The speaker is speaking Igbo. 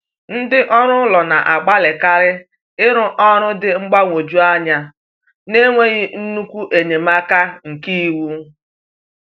Ndị ọrụ ụlọ na-agbalịkarị ịrrụ ọrụ dị mgbagwoju anya n’enweghị nnukwu enyemaka nke iwu.